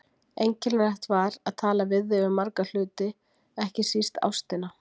Einkennilegt var að tala við þig um marga hluti, ekki síst ástina.